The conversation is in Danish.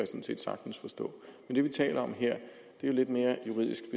set sagtens forstå men det vi taler om her er jo lidt mere juridisk